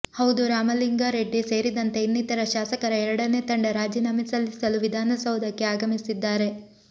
ಹೌದು ರಾಮಲಿಂಗಾ ರೆಡ್ಡಿ ಸೇರಿದಂತೆ ಇನ್ನಿತರ ಶಾಸಕರ ಎರಡನೇ ತಂಡ ರಾಜೀನಾಮೆ ಸಲ್ಲಿಸಲು ವಿಧಾನಸೌಧಕ್ಕೆ ಆಗಮಿಸಿದ್ದಾರೆ